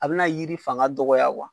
A be na yiri fanga dɔgɔ